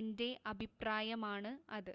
എന്റെ അഭിപ്രായമാണ് അത്.""